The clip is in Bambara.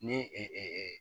Ni